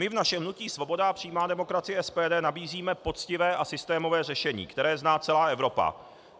My v našem hnutí Svoboda a přímá demokracie, SPD, nabízíme poctivé a systémové řešení, které zná celá Evropa.